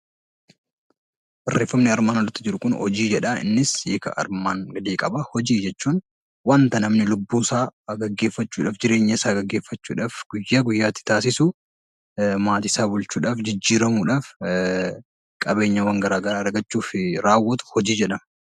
Barreeffamni armaan oliitti argamu kun hojii jedha. Innis hiika armaan gadii qaba. Hojii jechuun waanta namni lubbuusaa gaggeeffachuudhaaf, jireenyasaa gaggeeffachuudhaaf guyyaa guyyaatti taasisu, maatiisaa bulchuudhaaf, jijjiiramuudhaaf qabeenyawwan gara garaa argachuuf raawwatu hojii jedhama.